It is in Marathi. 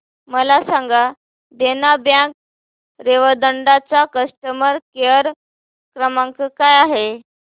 मला सांगा देना बँक रेवदंडा चा कस्टमर केअर क्रमांक काय आहे